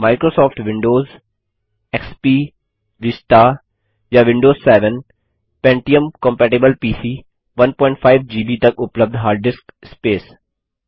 Microsoft Windows service pack 4 और उच्च XP Vista Vista या Windows 7 pentium compatible PC 15 GB तक उपलब्ध हार्ड डिस्क स्पेस